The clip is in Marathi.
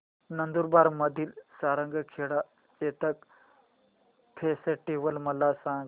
नंदुरबार मधील सारंगखेडा चेतक फेस्टीवल मला सांग